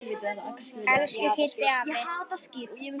Elsku Kiddi afi.